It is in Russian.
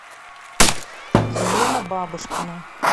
елена бабушкина